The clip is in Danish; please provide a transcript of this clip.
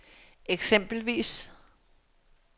eksempelvis